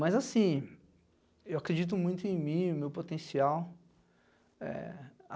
Mas, assim, eu acredito muito em mim, no meu potencial. É